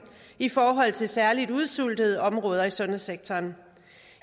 i forhold til særlig udsultede områder i sundhedssektoren